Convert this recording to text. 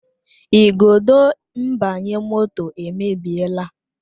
Igodo mgbanye moto emebiela